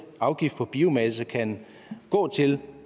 afgift på biomasse kan gå til